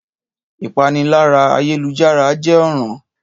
Ìpániláyà ayélujára jẹ́ ọ̀ràn